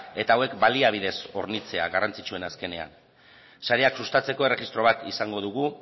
eta hauek baliabidez hornitzea garrantzitsuena azkenean sareak sustatzeko erregistro bat izango dugu